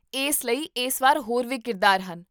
ਇਸ ਲਈ ਇਸ ਵਾਰ ਹੋਰ ਵੀ ਕਿਰਦਾਰ ਹਨ